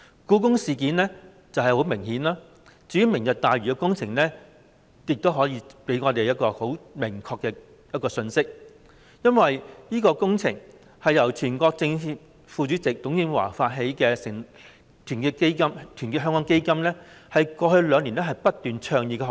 "故宮事件"是很明顯的例子，至於"明日大嶼願景"的相關工程，也給我們一個很明確的信息，因為這項工程是全國政協副主席董建華成立的團結香港基金過去兩年來不斷倡議的項目。